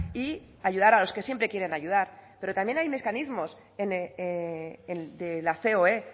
y ayudar a los que siempre quieren ayudar pero también hay mecanismos en de la ceoe